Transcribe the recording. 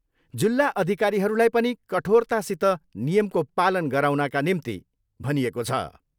जिल्ला अधिकारीहरूलाई पनि कठोरतासित नियमको पालन गराउनका निम्ति भनिएको छ।